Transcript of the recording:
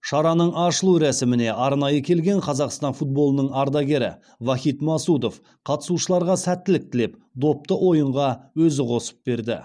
шараның ашылу рәсіміне арнайы келген қазақстан футболының ардагері вахид масудов қатысушыларға сәттілік тілеп допты ойынға өзі қосып берді